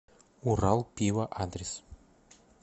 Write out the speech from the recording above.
урал пиво адрес